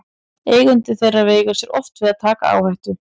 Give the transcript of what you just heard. Eigendur þeirra veigra sér oft við að taka áhættu.